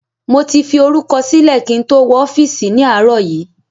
Mo ti fi orúkọ sílẹ̀ kí n tó wọ ọ́fíìsì ni àárọ̀ yìí